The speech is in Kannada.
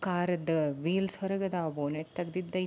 ಕಾರದ್ದು ವೀಲ್ಸ್ ಹೊರಗಿದ ಬೊನ್ನೆಟ್ ತೇಗಿದೈ --